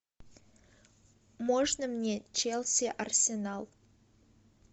можно мне челси арсенал